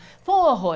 Foi um horror.